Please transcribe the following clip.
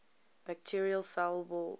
bacterial cell wall